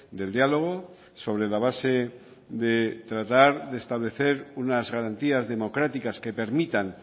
del diálogo sobre la base de tratar de establecer unas garantías democráticas que permitan